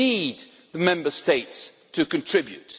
We need the Member States to contribute.